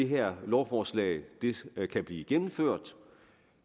her lovforslag kan blive gennemført